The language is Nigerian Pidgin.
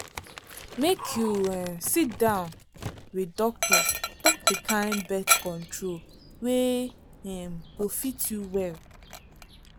make you um sit down with doctor talk the kind birth control wey um go fit you well.